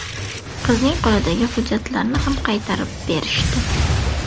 Qizning qo‘lidagi hujjatlarni ham qaytarib berishdi.